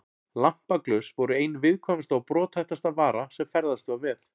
Lampaglös voru ein viðkvæmasta og brothættasta vara sem ferðast var með.